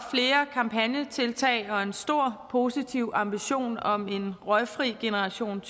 kampagnetiltag og en stor og positiv ambition om en røgfri generation